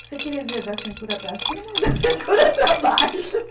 Você queria dizer da cintura para cima ou da cintura para baixo?